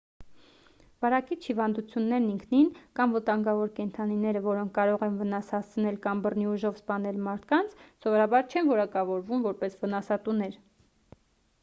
վարակիչ հիվանդություններն ինքնին կամ վտանգավոր կենդանիները որոնք կարող են վնաս հասցնել կամ բռնի ուժով սպանել մարդկանց սովորաբար չեն որակավորվում որպես վնասատուներ